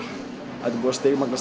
þetta er búið að stigmagnast